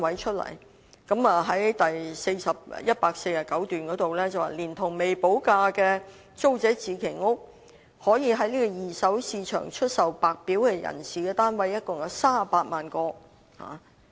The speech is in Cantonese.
施政報告第149段指出，連同未補地價的租者置其屋計劃，可以在二手市場出售給白表人士的單位共有38萬個。